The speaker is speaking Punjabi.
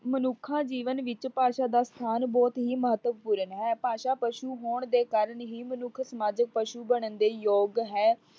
ਮਨੁੱਖਾ ਜੀਵਨ ਵਿੱਚ ਭਾਸ਼ਾ ਦਾ ਸਥਾਨ ਬਹੁਤ ਹੀ ਮਤਵਪੂਰਨ ਹੈ। ਭਾਸ਼ਾ ਪਸ਼ੂ ਹੋਣ ਦੇ ਕਾਰਣ ਹੀ ਮਨੁੱਖ ਸਮਾਜਿਕ ਪਸ਼ੂ ਬਣਨ ਦੇ ਯੋਗ ਹੈ।